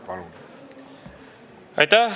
Palun!